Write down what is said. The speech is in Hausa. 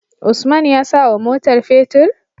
Usman ya sawa motar fetir?